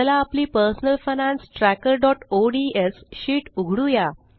चला आपली personal finance trackerओडीएस शीट उघडुया